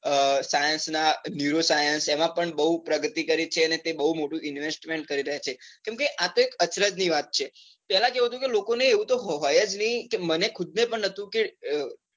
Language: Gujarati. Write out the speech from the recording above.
અ science નાં nuro science એમાં પણ બહુ પ્રગતિ કરી છે અને તે બહુ મોટું investment કરી રહ્યા છે, કેમ કે આતો એક અચરજ ની વાત છે પેલાં કેવું હતું કે લોકો ને એવું તો હોય જ નહિ મને ખુદ ને પણ નતું કે,